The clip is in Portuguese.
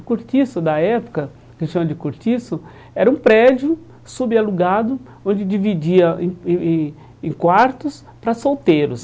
O cortiço da época, que se chama de cortiço, era um prédio subalugado, onde dividia em em em em quartos para solteiros.